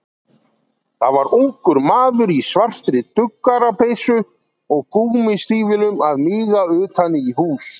Það var ungur maður í svartri duggarapeysu og gúmmístígvélum að míga utan í hús.